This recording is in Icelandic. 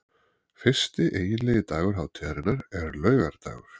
Fyrsti eiginlegi dagur hátíðarinnar er laugardagur.